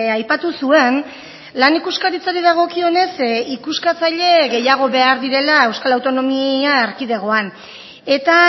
aipatu zuen lan ikuskaritzari dagokionez ikuskatzaile gehiago behar direla euskal autonomia erkidegoan eta